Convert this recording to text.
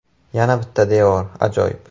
Yana bitta devor, ajoyib.